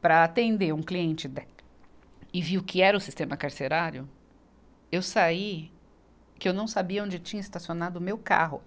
para atender um cliente da, e vi o que era o sistema carcerário, eu saí que eu não sabia onde tinha estacionado o meu carro.